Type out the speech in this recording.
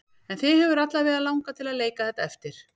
En þig hefur alla vega langað til að leika þetta eftir?